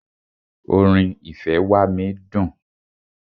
Orin "ìfẹ́ wá mí" dùn.